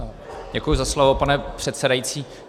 Děkuji za slovo, pane předsedající.